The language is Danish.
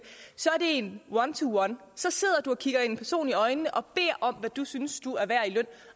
så er det en one to one så sidder du og kigger en person i øjnene og beder om hvad du synes du er værd i løn